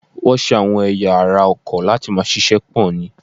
Wọn ṣe àwọn ẹ̀ya ara ọkọ̀ láti máa ṣíṣe pò ni.